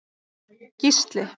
Gísli